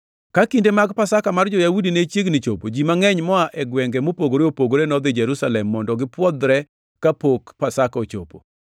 Ka kinde mag Pasaka mar jo-Yahudi ne chiegni chopo, ji mangʼeny moa e gwenge mopogore opogore nodhi Jerusalem mondo gipwodhre kapok Pasaka ochopo.